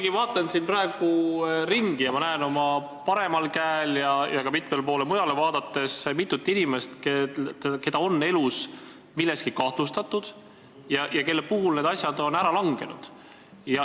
Ma vaatan siin praegu ringi ja näen oma paremale käele ja ka mitmele poole mujale vaadates mitut inimest, keda on elus milleski kahtlustatud ja kelle puhul need kahtlustused on ära langenud.